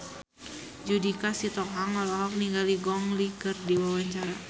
Judika Sitohang olohok ningali Gong Li keur diwawancara